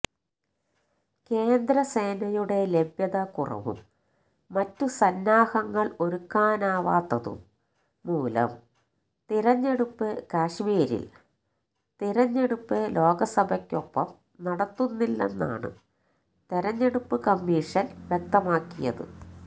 കേന്ദ്രസേനയുടെ ലഭ്യത കുറവും മറ്റ് സന്നാഹങ്ങള് ഒരുക്കാനാവാത്തതും മൂലം തിരഞ്ഞെടുപ്പ് കശ്മീരില് തിരഞ്ഞെടുപ്പ് ലോക്സഭയ്ക്കൊപ്പം നടത്തുന്നില്ലെന്നാണ് തിരഞ്ഞെടുപ്പ് കമമീഷന് വ്യക്തമാക്കിയത്